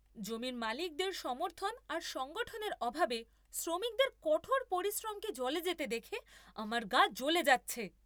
জমির মালিকদের সমর্থন আর সংগঠনের অভাবে শ্রমিকদের কঠোর পরিশ্রমকে জলে যেতে দেখে আমার গা জ্বলে যাচ্ছে।